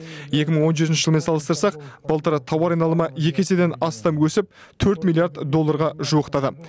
екі мың он жетінші жылмен салыстырсақ былтыр тауар айналымы екі еседен астам өсіп төрт миллиард долларға жуықтаған